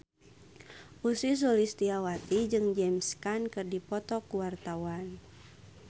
Ussy Sulistyawati jeung James Caan keur dipoto ku wartawan